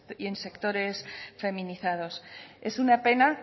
y en sectores feminizados es una pena